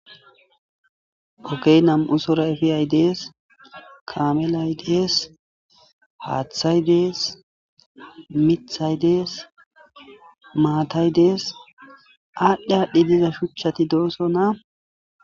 ogey nam7u sora efiyay dees kamelay dees haaththay dees mithay dees maatay dees aadhdhi aadhdhi diza shuchchati dooso na